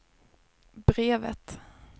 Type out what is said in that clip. brevet